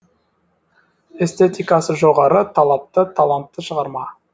эстетикасы жоғары талапты талантты шығарма